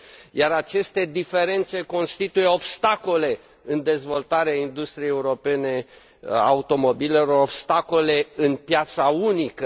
iar aceste diferențe constituie obstacole în dezvoltarea industriei europene a automobilelor, obstacole în piața unică.